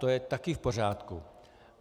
To je také v pořádku.